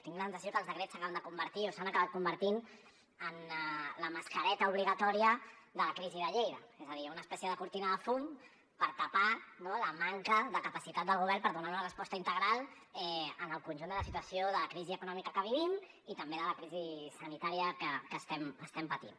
tinc la sensació que els decrets s’acaben de convertir o s’han acabat convertint en la mascareta obligatòria de la crisi de lleida és a dir una espècie de cortina de fum per tapar la manca de capacitat del govern per donar una resposta integral al conjunt de la situació de crisi econòmica que vivim i també de la crisi sanitària que estem patint